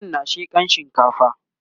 matan na shekan shinkafa